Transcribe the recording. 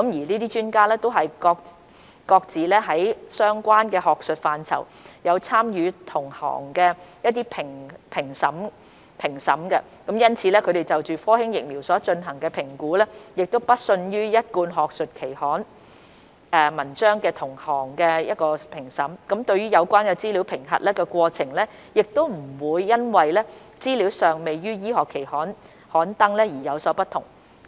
這些專家都是各自於相關學術範疇有參與同行評審的，因此他們就科興疫苗所進行的評估不遜於一貫學術期刊文章的同行評審，對有關資料的審核過程亦不會因為資料尚未於醫學期刊刊登而有所不同。